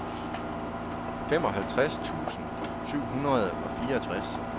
femoghalvtreds tusind syv hundrede og fireogtres